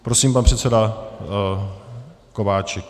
Prosím, pan předseda Kováčik.